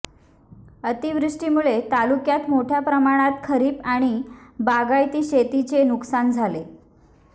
अतिवृष्टीमुळे तालुक्यात मोठ्या प्रमाणात खरीप आणि बागायती शेतीचे नुकसान झाले